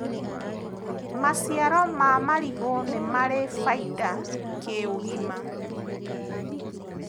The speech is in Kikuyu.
maciaro ma marigu nĩmari baida kĩũgima